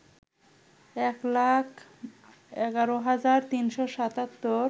এক লাখ ১১ হাজার ৩৭৭